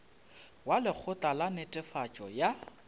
wa lekgotla la netefatšo ya